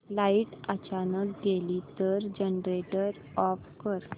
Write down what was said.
light अचानक गेली तर जनरेटर ऑफ कर